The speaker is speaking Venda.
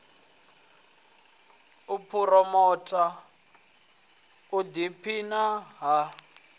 u phuromotha u ḓiphina ha